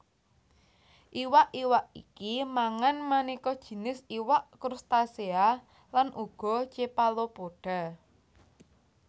Iwak iwak iki mangan manéka jinis iwak krustasea lan uga cephalopoda